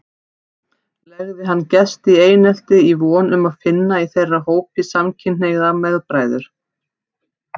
Legði hann gesti í einelti í von um að finna í þeirra hópi samkynhneigða meðbræður.